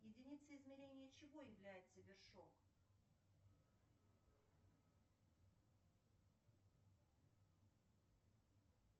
единицей измерения чего является вершок